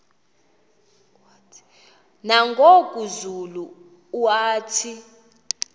nangoku zulu uauthi